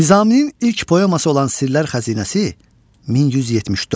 Nizaminin ilk poeması olan Sirlər xəzinəsi 1174.